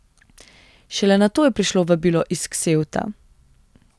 Šele nato je prišlo vabilo iz Ksevta.